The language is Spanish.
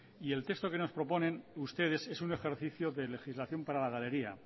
y el texto que nos proponen ustedes es un ejercicio de legislación para la galería